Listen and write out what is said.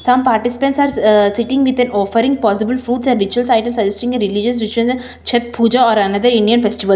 all participants are ah sitting with an offering possible fruits and ritual items suggesting a religious chhath puja or another indian festivals.